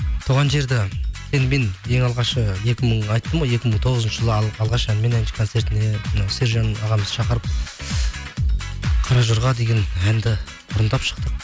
туған жерді енді мен ең алғашқы айттым ғой екі мың тоғызыншы жылы алғаш әнмен концертіне мынау сержан ағамыз шақырып қаражорға деген әнді орындап шықтық